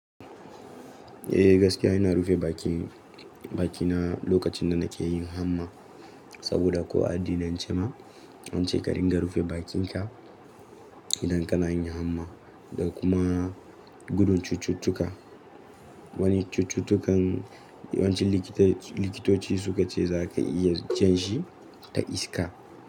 Eh gaskiya ina rufe bakina, bakina lokacin da nake yin hamma saboda ko a addinance ma an ce ka ringa rufe bakinka idan kana yin hamma da kuma gudun cututtuka. Wani cututtukan yawanci likitoci, likitoci su ka ce za ka iya janshi ta iska.